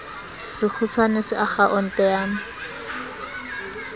sekgutshwane sa akha onte ya